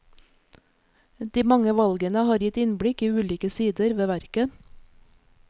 De mange valgene har gitt innblikk i ulike sider ved verket.